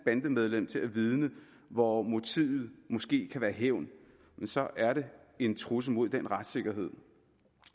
bandemedlem til at vidne hvor motivet måske kan være hævn så er det en trussel mod den retssikkerhed